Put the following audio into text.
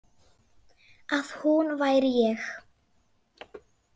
Að hún væri ég.